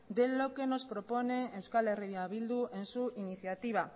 de lo que nos propone eh bildu en su iniciativa